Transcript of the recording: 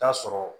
Taa sɔrɔ